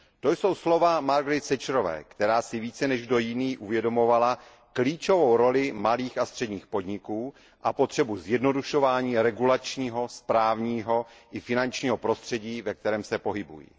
To jsou slova Margaret Thatcherové, která si více než kdo jiný uvědomovala klíčovou roli malých a středních podniků a potřebu zjednodušování regulačního, správního i finančního prostředí, ve kterém se pohybují.